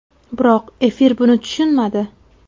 Biroq, efir buni tushunmadi”.